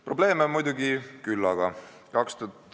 Probleeme on muidugi küllaga.